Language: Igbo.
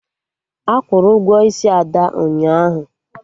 Akwụrụ Ụgwọ isi Ada ụnyaahụ